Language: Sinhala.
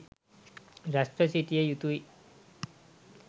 රැස්ව සිටිය යුතු යි.